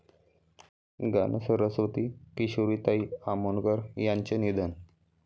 गानसरस्वती किशोरीताई आमोणकर यांचं निधन